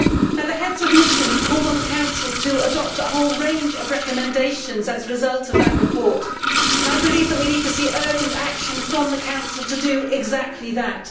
But the Heads of Mission called on the Council to adopt a whole range of recommendations as a result of that report, and I believe that we need to see urgent action from the Council to do exactly that.